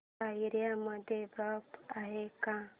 या एरिया मध्ये पार्क आहे का